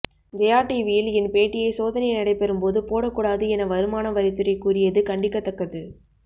ஜெயா டிவியில் என் பேட்டியை சோதனை நடைபெறும் போது போடக்கூடாது என வருமான வரித்துறை கூறியது கண்டிக்கத்தக்கது